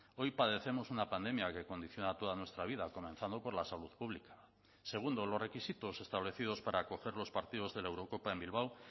hoy padecemos una pandemia que condiciona toda nuestra vida comenzando por la salud pública segundo los requisitos establecidos para acoger los partidos de la eurocopa en bilbao